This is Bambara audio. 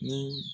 Ni